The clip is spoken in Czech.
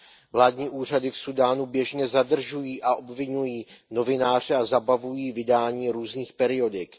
Vládní úřady v Súdánu běžně zadržují a obviňují novináře a zabavují vydání různých periodik.